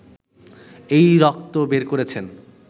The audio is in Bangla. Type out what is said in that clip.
এই রক্ত বের করছেন!